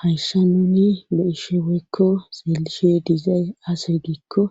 Hayssa nuni loishe woykko seelishe dizay ase giikko